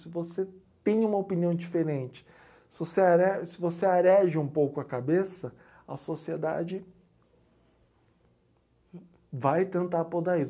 Se você tem uma opinião diferente, se você are se você areja um pouco a cabeça, a sociedade vai tentar podar isso.